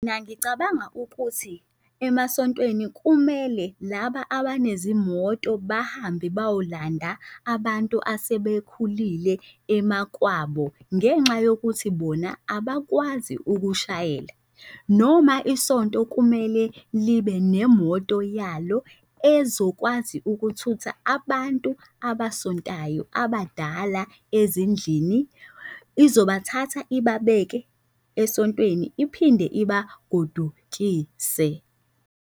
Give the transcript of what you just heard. Nangicabanga ukuthi emasontweni kumele laba abanezimoto bahambe bayolanda abantu asebekhulile emakwabo ngenxa yokuthi bona abakwazi ukushayela. Noma isonto kumele libe nemoto yalo ezokwazi ukuthutha abantu abasontayo abadala ezindlini. Izobathatha ibabeke esontweni iphinde ibagodukise.